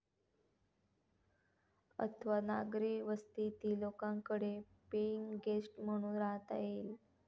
अथवा नागरी वस्तीतील लोकांकडे पेईंग गेस्ट म्हणून राहता येईल.